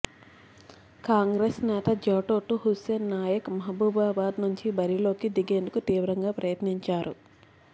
కాంగ్రెస్ నేత జాటోతు హుస్సేన్ నాయక్ మహబూబాబాద్ నుంచి బరిలోకి దిగేందుకు తీవ్రంగా ప్రయత్నించారు